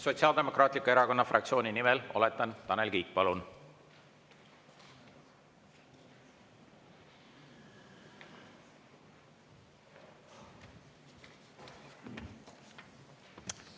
Sotsiaaldemokraatliku Erakonna fraktsiooni nimel, oletan, Tanel Kiik, palun!